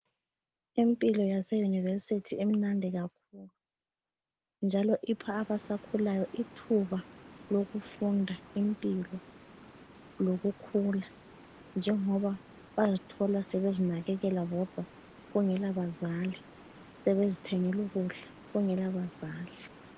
Impilo yase University imnandi kakhulu njalo ipha abasakhulayo ithuba lokufunda impilo lokukhula, njengoba bazithola sebezinakekela bodwa kungela bazali sebezithengelu ukudla kungela bazali.